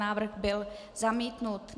Návrh byl zamítnut.